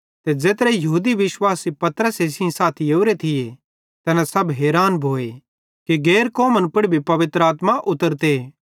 ते ज़ेत्रे यहूदी विश्वासी पतरसे सेइं साथी ओरे थी तैना सब हैरान भोए कि गैर कौमन पुड़ भी पवित्र आत्मा उतरोरीए